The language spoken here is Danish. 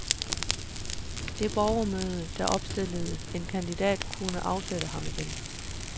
Det borgermøde, der opstillede en kandidat, kunne afsætte ham igen.